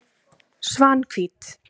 Svanhvít